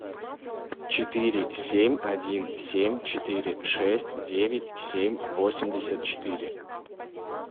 четыре семь один семь четыре шесть девять семь восемьдесят четыре